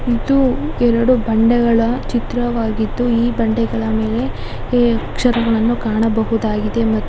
ಇದು ಎರಡು ಬಂಡೆಗಳ ಚಿತ್ರವಾಗಿದ್ದು ಈ ಬಂಡೆಗಳ ಮೇಲೆ ಏ ಅಕ್ಷರಗಳನ್ನು ಕಾಣಬಹುದಾಗಿದೆ ಮತ್ತು.